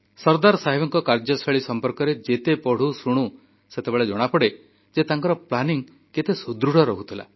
ସର୍ଦ୍ଦାର ସାହେବଙ୍କ କାର୍ଯ୍ୟଶୈଳୀ ସମ୍ପର୍କରେ ଯେତେବେଳେ ପଢ଼ୁ ଶୁଣୁ ସେତେବେଳେ ଜଣାପଡ଼େ ଯେ ତାଙ୍କର ଯୋଜନା ପ୍ରସ୍ତୁତି କେତେ ସୁଦୃଢ଼ ରହୁଥିଲା